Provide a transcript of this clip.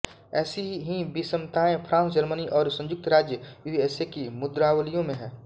ऐसी ही विषमताएँ फ्रांस जर्मनी और संयुक्त राज्य यूएसए की मुद्रावलियों में है